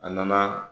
A nana